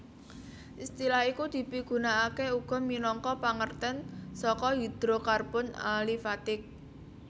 Istilah iku dipigunakaké uga minangka pangertèn saka hidrokarbon alifatik